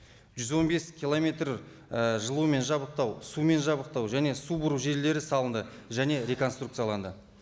жүз он бес километр і жылумен жабдықтау сумен жабдықтау және су бұру желілері салынды және реконструкцияланды